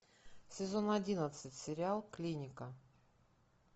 сезон одиннадцать сериал клиника